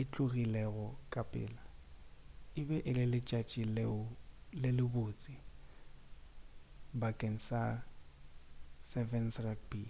e tlogilego ka pela e be e le letšatši le le botse bakeng sa 7's rugby